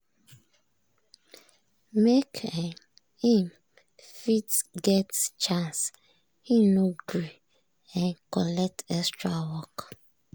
make um him fit get chance im no gree um collect extra work.